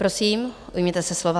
Prosím, ujměte se slova.